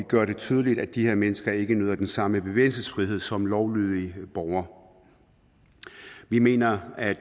gør det tydeligt at de her mennesker ikke nyder den samme bevægelsesfrihed som lovlydige borgere vi mener at